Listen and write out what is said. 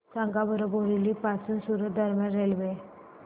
सांगा बोरिवली पासून सूरत दरम्यान रेल्वे